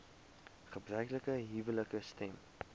gebruiklike huwelike stem